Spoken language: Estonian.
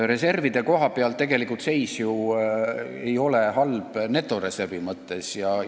Reservide koha pealt ei ole seis netoreservi mõttes tegelikult halb.